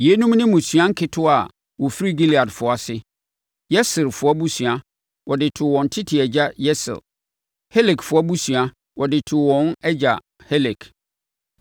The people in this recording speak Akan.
Yeinom ne mmusua nketewa a wɔfiri Gileadfoɔ ase: Yeserfoɔ abusua, wɔde too wɔn tete agya Yeser. Helekfoɔ abusua, wɔde too wɔn agya Helek.